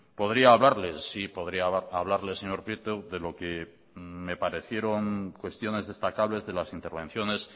podría hablarles sí podría hablarles señor prieto de lo que me parecieron cuestiones destacables de las intervenciones